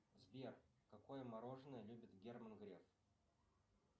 сбер какое мороженое любит герман греф